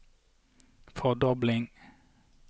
fordobling